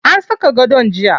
An saka gadon jiya.